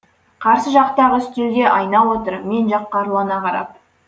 қарсы жақтағы үстелде айна отыр мен жаққа ұрлана қарап